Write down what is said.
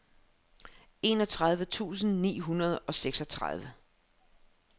enogtredive tusind ni hundrede og seksogtredive